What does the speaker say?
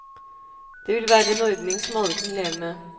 Det ville være en ordning som alle kunne leve med.